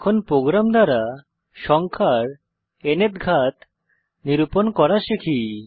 এখন প্রোগ্রাম দ্বারা সংখ্যার ন্থ ঘাত নিরূপন করা শিখি